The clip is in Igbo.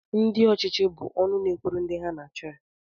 Ndị ọchịchị bụ ọnụ na-ekwuru ndị ha na-achị